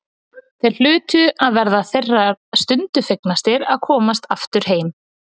Þeir hlutu að verða þeirri stundu fegnastir að komast aftur heim.